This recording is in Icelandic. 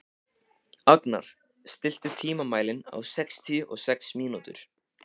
Agnar, stilltu tímamælinn á sextíu og sex mínútur.